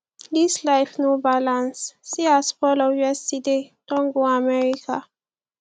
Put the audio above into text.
dis life sef no balance see as paul of yesterday don go america